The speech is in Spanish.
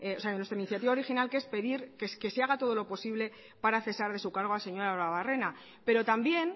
de nuestra iniciativa original que es pedir que se haga todo lo posible para cesar de su cargo al señor arruebarrena pero también